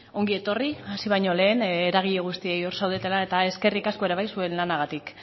ongi etorri hasi baino lehen eragile guztioi hor zaudetela eta eskerrik asko ere bai zuen lanagatik